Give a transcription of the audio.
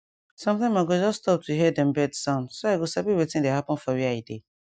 sometime i go just stop to hear dem bird sound so i go sabi wetin dey happen for where i dey